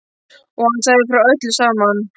Og hann sagði frá öllu saman.